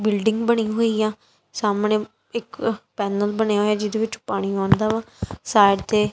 Building ਬਣੀ ਹੋਈ ਆ ਸਾਹਮਣੇ ਇੱਕ ਪੈਨਲ ਬਣੇ ਹੋਏ ਆ ਜਿਹਦੇ ਵਿੱਚ ਪਾਣੀ ਆਉਂਦਾ ਵਾ ਸਾਈਡ ਤੇ।